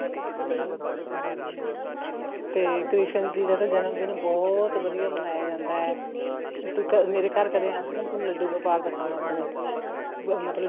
ਹਮ ਤੇ ਕ੍ਰਿਸ਼ਨ ਜੀ ਦਾ ਜਨਮਦਿਨ ਬਹੁਤ ਵਧੀਆ ਮਨਾਇਆ ਜਾਂਦਾ ਹੈ ਮੇਰੇ ਘਰ ਕਦੇ ਆਇਓ ਮੈਂ ਲੱਡੂ ਗੋਪਾਲ ਦਿਖਾਵਾਂ ਆਪਣੇ ਮਤਲਬ